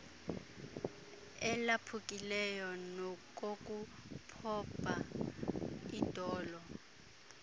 elaphukileyo nokokuphoba idolo